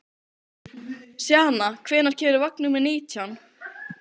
Sjana, hvenær kemur vagn númer nítján?